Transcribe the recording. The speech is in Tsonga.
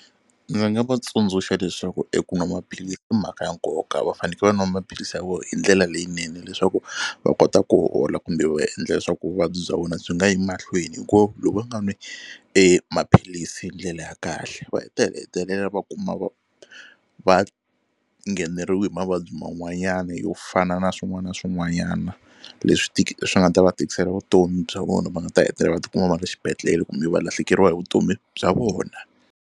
Ndzi nga va tsundzuxa leswaku eku nwa maphilisi i mhaka ya nkoka va faneke va nwa maphilisi ya vona hi ndlela leyinene leswaku va kota ku hola kumbe va endla leswaku vuvabyi bya wena byi nga yi mahlweni hi ku loko va nga nwi e maphilisi hi ndlela ya kahle va heta hetelela va kuma va va ngheneriwa hi mavabyi man'wanyana yo fana na swin'wana na swin'wanyana leswi swi nga ta va tikisela vutomi bya vona va nga ta hetelela va ti kuma va ri xibedhlele kumbe va lahlekeriwa hi vutomi bya vona.